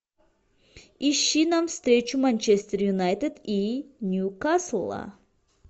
ищи нам встречу манчестер юнайтед и ньюкасла